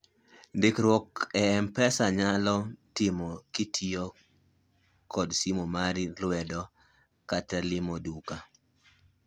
ndikruok e mpesa inyalo tim kitiyo kod simu mar lwedo kata limo duka